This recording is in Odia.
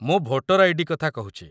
ମୁଁ ଭୋଟର ଆଇ.ଡି. କଥା କହୁଛି